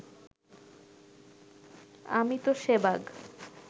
আমি তো শেবাগ